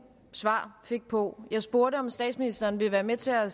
svar fik på jeg spurgte om statsministeren vil være med til at